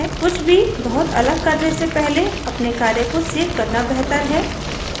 कुछ भी बहुत अलग करने से पहले अपने कार्य को सेव करना बेहतर है